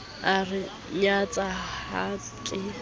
a re nyatsa ha ke